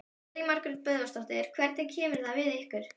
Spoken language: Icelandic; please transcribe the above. Elín Margrét Böðvarsdóttir: Hvernig kemur það við ykkur?